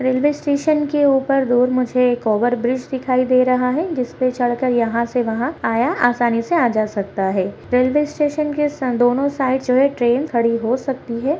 Railway station के ऊपर दूर मुझे एक ओवर ब्रिज दिखाई दे रहा है जिस पे चढ़ कर यहाँ से वहाँ आया आसानी से आया जा सकता है रेलवे स्टेशन के है दोनों साइड जो है ट्रेन खड़ी हो सकती है।